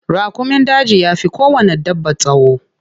Raƙumin daji yafi kowanne dabba tsawo.